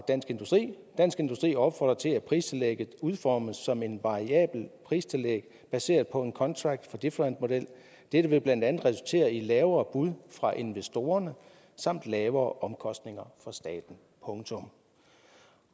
dansk industri di opfordrer til at pristillægget udformes som et variabelt pristillæg baseret på en contract for difference model det vil resultere i lavere bud fra investorerne samt lavere omkostninger for staten punktum